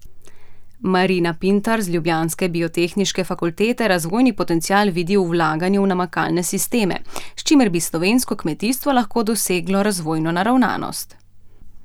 Marina Pintar z ljubljanske biotehniške fakultete razvojni potencial vidi v vlaganju v namakalne sisteme, s čimer bi slovensko kmetijstvo lahko doseglo razvojno naravnanost.